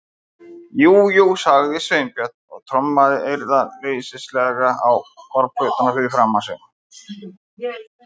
Jú, jú- sagði Sveinbjörn og trommaði eirðarleysislega á borðplötuna fyrir framan sig.